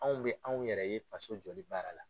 Anw bi anw yɛrɛ ye faso jɔli baara la.